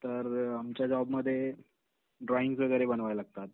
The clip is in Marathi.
तर आमच्या जॉब मध्ये ड्रॉईंगस वगैरे बनवाव्या लागतात.